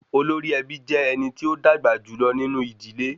Olórí ẹbí jé ẹnití ó dàgbà jùlọ nínú ìdílé